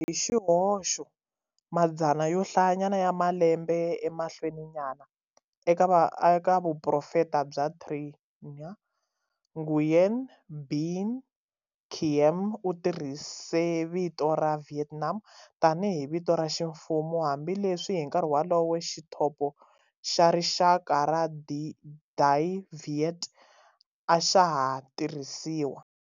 Hi xihoxo, madzana yo hlayanyana ya malembe emahlweninyana, eka Vuprofeta bya Trinh, Nguyen Binh Khiem u tirhise vito ra""Vietnam"" tanihi vito ra ximfumo, hambileswi hi nkarhi wolowo xithopo xa rixaka xa"Dai Viet" a xa ha tirhisiwa.